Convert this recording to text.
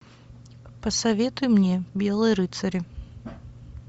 посоветуй мне белые рыцари